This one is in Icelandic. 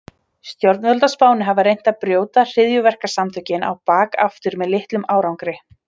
Stjórnvöld á Spáni hafa reynt að brjóta hryðjuverkasamtökin á bak aftur með litlum árangri.